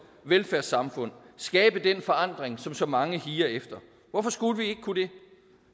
velfærdssamfund skabe den forandring som så mange higer efter hvorfor skulle vi ikke kunne det